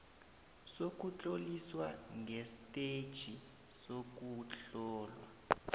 sokutloliswa kwestetjhi sokuhlolwa